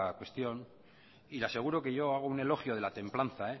cuestión y le aseguro que yo hago un elogio de la templanza